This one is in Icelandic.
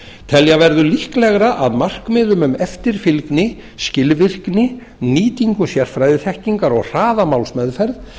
telja verður líklegra að markmiðum um eftirfylgni skilvirkni nýtingu sérfræðiþekkingar og hraða málsmeðferð